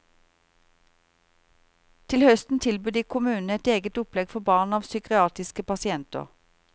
Til høsten tilbyr de kommunene et eget opplegg for barn av psykiatriske pasienter.